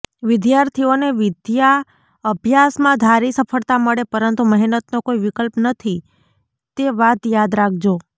વિદ્યાર્થીઓને વિદ્યાભ્યાસમાં ધારી સફળતા મળે પરંતુ મહેનતનો કોઇ વિકલ્પ નથી તે વાત યાદ રાખજો